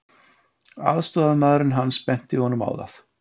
Aðstoðarmaðurinn hans benti honum á það.